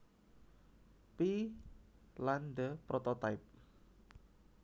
P lan The Prototype